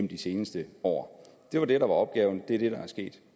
de seneste år det var det der var opgaven det er det der er sket